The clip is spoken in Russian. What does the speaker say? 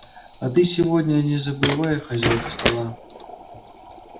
а ты сегодня не забывай хозяйка стола